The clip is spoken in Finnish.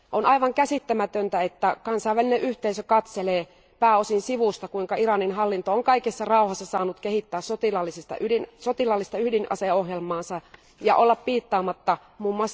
On aivan käsittämätöntä, että kansainvälinen yhteisö katselee pääosin sivusta, kuinka Iranin hallinto on kaikessa rauhassa saanut kehittää sotilaallista ydinaseohjelmaansa ja olla piittaamatta mm.